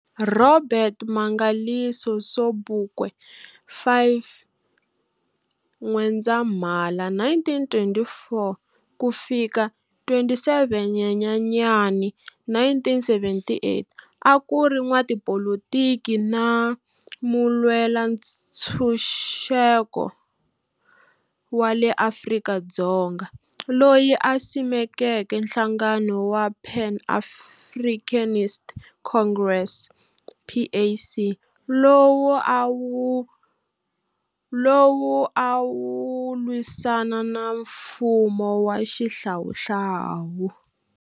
Robert Mangaliso Sobukwe, 5 N'wendzamhala 1924-27 Nyenyenyani 1978, akuri n'wapolitiki na mulwela-nchuseko wa le Afrika-Dzonga, loyi a simekeke nhlangano wa Pan Africanist Congress, PAC, lowu a wulwisana na mfumo wa xihlawuhlawu.